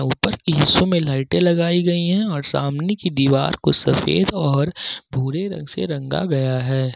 ऊपर के हिस्सों में लाइटे लगाई गई है और सामने की दीवार को सफेद और भूरे रंग से रंगा गया है।